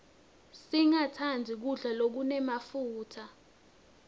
singatsandzi kudla lokunemafutsa